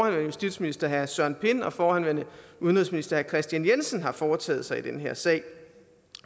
justitsminister herre søren pind og forhenværende udenrigsminister herre kristian jensen har foretaget sig i den her sag